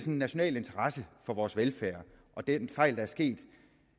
en national interesse for vores velfærd og den fejl der er sket